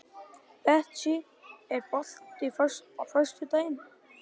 Betsý, er bolti á föstudaginn?